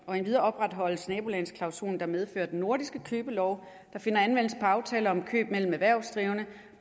endvidere opretholdes nabolandsklausulen der medfører at de nordiske købelove der finder anvendelse på aftaler om køb mellem erhvervsdrivende